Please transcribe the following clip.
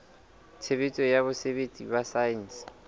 tshebetso ya botsebi ba saense